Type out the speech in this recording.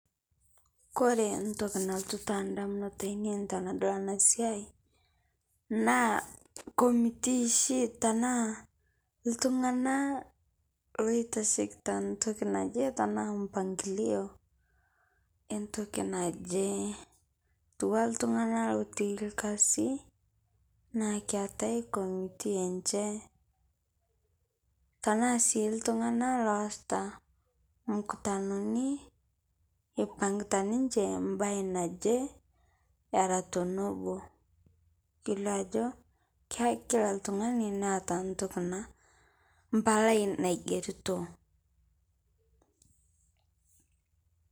Kore ntokii nalotuu ta ndamunot enia tanadol ana sia naa committe shii tana ltung'ana loitashekita ntokii najee tana mpangilio entokii najee. Etua ltung'ana lotii lkasi naa keetai committe enchee tana sii ltung'ana loasita mkutanoni epang'taa ninchee baye naje era tonobo. Keleo ajo kila ltung'ani naeta ntokii naa mpalai naigerito.